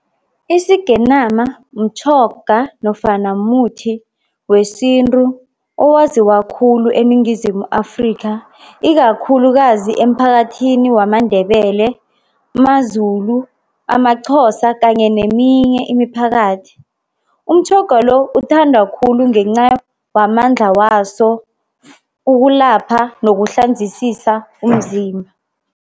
Isigenama mtjhoga nofana muthi wesintu owaziwa khulu eNingizimu Afrika ikakhulukazi emphakathini wamaNdebele, maZulu, amaXhosa kanye neminye imiphakathi. Umtjhoga lo uthandwa khulu ngenca wamandla waso ukulapha nokuhlanzisisa umzimba.